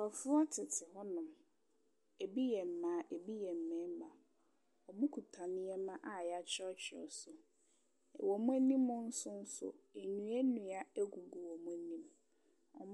Nkrɔfoɔ tete hɔ nyinaa. Ebi yɛ mmaa, ebi yɛ mmarima. Wɔkita nneɛma a yɛakyerɛwkyerɛw so. Wɔn anim nso nnua nnua gugu wɔn anim.